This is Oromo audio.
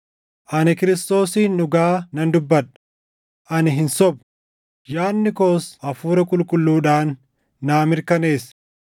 Ani Kiristoosiin dhugaa nan dubbadha; ani hin sobu; yaadni koos Hafuura Qulqulluudhaan naa mirkaneessa;